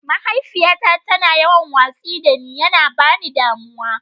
Mahaifiyyata ta na yawan watsi da ne, ya na ba ni damuwa.